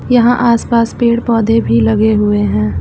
यहाँ आस पास पेड़ पौधे भी लगे हुए हैं।